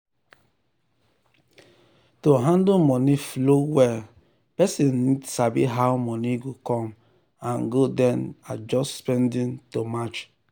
to handle money flow well person need sabi how money go come and go then adjust spending to match.